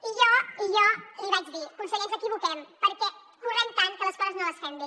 i jo li vaig dir conseller ens equivoquem perquè correm tant que les coses no les fem bé